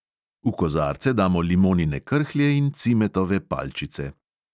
V kozarce damo limonine krhlje in cimetove palčice.